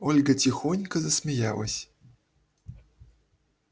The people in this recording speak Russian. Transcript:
ольга тихонько засмеялась